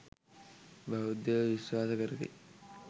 බෞද්ධයෝ විශ්වාස කරති.